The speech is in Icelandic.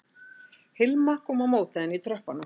Hilma kom á móti henni í tröppunum